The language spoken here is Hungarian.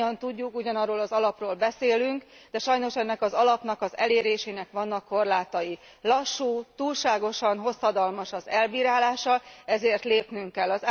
Mindannyian tudjuk, ugyanarról az alapról beszélünk, de sajnos ennek az alapnak az elérésének vannak korlátai lassú, túlságosan hosszadalmas az elbírálása, ezért lépnünk kell.